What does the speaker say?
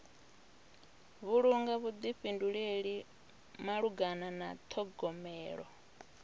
vhulunga vhuḓifhinduleli malugana na ṱhogomelo